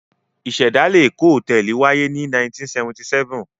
Ìṣẹ̀dálẹ̀ Èkó Hòtẹ́ẹ́lì wáyé ní 1977.